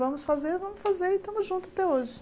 Vamos fazer, vamos fazer e estamos juntos até hoje.